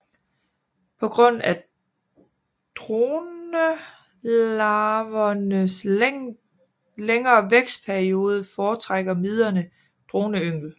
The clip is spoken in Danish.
På grund af dronelarvernes længere vækstperiode foretrækker miderne droneyngel